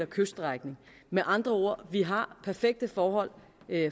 kyststrækning med andre ord vi har perfekte forhold